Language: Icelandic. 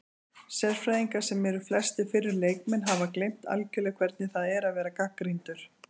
Sérfræðingar, sem eru flestir fyrrum leikmenn, hafa gleymt algjörlega hvernig það er að vera gagnrýndur